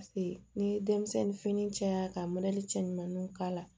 Paseke n'i ye denmisɛnnin fini caya ka cɛ ɲumaninw k'a la